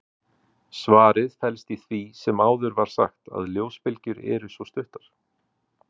Svarið felst í því sem áður var sagt, að ljósbylgjur eru svo stuttar.